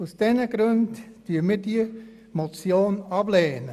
Aus diesem Grund lehnen wir diese Motion ab.